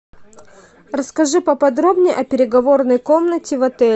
расскажи поподробнее о переговорной комнате в отеле